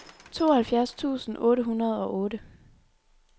tooghalvfjerds tusind otte hundrede og otte